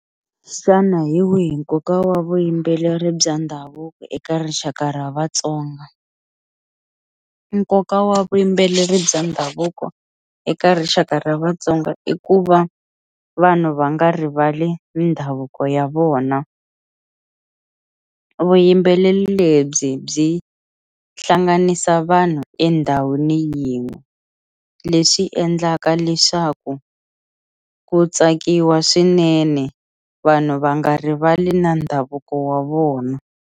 Xana hi wihi nkoka wa vuyimbeleri bya ndhavuko eka rixaka ra vatsonga nkoka wa vuyimbeleri bya ndhavuko eka rixaka ra vatsonga i ku va vanhu va nga rivali ndhavuko ya vona vuyimbeleri lebyi byi hlanganisa vanhu endhawini yin'we leswi endlaka leswaku ku tsakiwa swinene vanhu va nga rivali na ndhavuko wa vona.